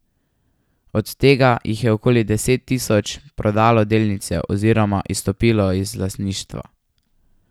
Od tega jih je okoli deset tisoč prodalo delnice oziroma izstopilo iz lastništva.